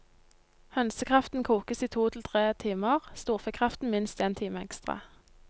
Hønsekraften kokes i to til tre timer, storfekraften minst en time ekstra.